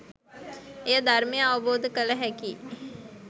එය ධර්මය අවබෝධ කළ හැකි